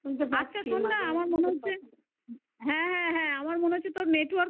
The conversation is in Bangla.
আচ্ছা শোন না আমার মনে হচ্ছে হ্যাঁ হ্যাঁ হ্যাঁ আমার মনে হচ্ছে তোর network